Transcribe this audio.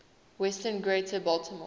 western greater baltimore